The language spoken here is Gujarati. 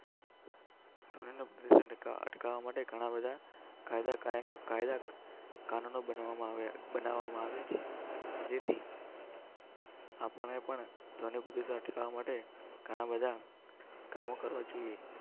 કરવા માટે ઘણા બધા કાયદા કાનૂન બનાવવામાં આવે. બનાવવામાં આવે છે. ધોની પતિ સાથે જવા માટે ઘણાં બધાં કામો કરવા જોઈએ.